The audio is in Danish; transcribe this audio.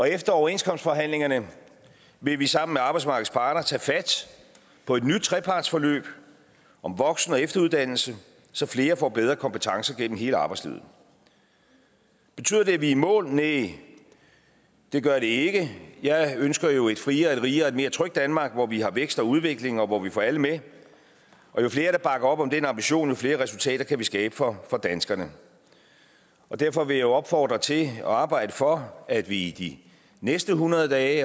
efter overenskomstforhandlingerne vil vi sammen med arbejdsmarkedets parter tage fat på et nyt trepartsforløb om voksen og efteruddannelse så flere får bedre kompetencer gennem hele arbejdslivet betyder det at vi er i mål næh det gør det ikke jeg ønsker jo et friere et rigere og mere trygt danmark hvor vi har vækst og udvikling og hvor vi får alle med jo flere der bakker op om den ambition jo flere resultater kan vi skabe for danskerne derfor vil jeg jo opfordre til og arbejde for at vi de næste hundrede dage